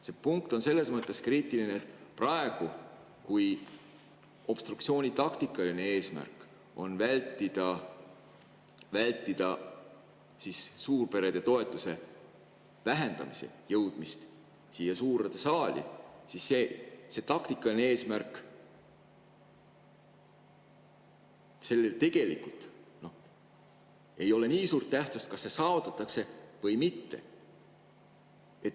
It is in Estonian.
See punkt on selles mõttes kriitiline, et praegu, kui obstruktsiooni taktikaline eesmärk on vältida suurperede toetuse vähendamise jõudmist siia suurde saali, siis tegelikult ei ole nii suure tähtsusega see, kas see taktikaline eesmärk saavutatakse või mitte.